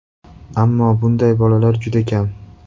Ammo bunday bolalar juda kam.